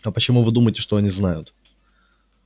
а почему вы думаете что они знают